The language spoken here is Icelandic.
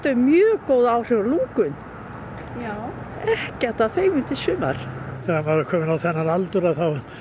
mjög góð áhrif á lungun ekkert að þeim í sumar þegar maður er kominn á þennan aldur þá